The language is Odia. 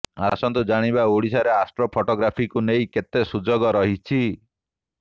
ଆସନ୍ତୁ ଜାଣିବା ଓଡିଶାରେ ଆଷ୍ଟ୍ରୋ ଫଟୋଗ୍ରାଫିକୁ ନେଇ କେତେ ସୁଯୋଗ ରହିଛି